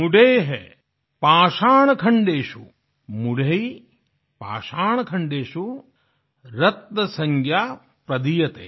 मूढैः पाषाणखण्डेषु रत्नसंज्ञा प्रदीयते